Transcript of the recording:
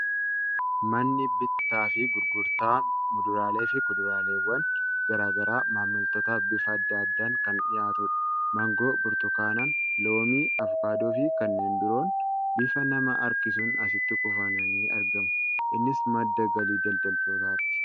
Manni bittaa fi gurgurtaa muduraalee fi kuduraaleewwan garaa garaa maamiltootaaf bifa adda addaan kan dhiyaatudha. Maangoo, burtukaan, loomii, avokaadoo fi kanneen biroon bifa nama harkisuun asitti kuufamanii argamu. Innis madda galii daldaltootaati.